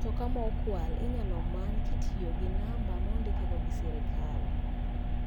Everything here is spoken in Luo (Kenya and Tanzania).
Mtoka ma okwal inyal many ka itiyogi numba ma ondikego gi sirkal.